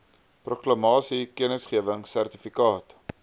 proklamasie kennisgewing sertifikaat